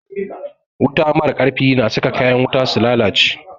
Wuta mara ƙarfi na saka kayan wuta su lalace